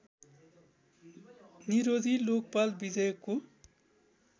निरोधी लोकपाल विधेयकको